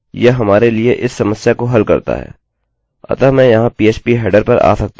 यह क्या करता हैयह हमारे लिए इस समस्या को हल करता है